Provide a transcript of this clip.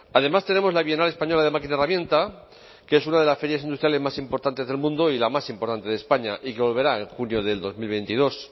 además tenemos la bienal española de máquina herramienta que es una de las ferias industriales más importantes del mundo y la más importante de españa y que volverá en junio de dos mil veintidós